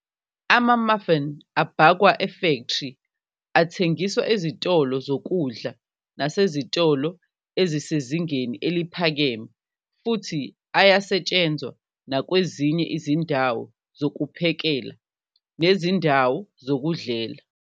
Ama-muffin abhakwa efektri athengiswa ezitolo zokudla nasezitolo ezisezingeni eliphakeme futhi ayasetshenzwa nakwezinye izindawo zokuphekela nezindawo zokudlela.